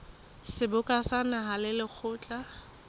seboka sa naha le lekgotla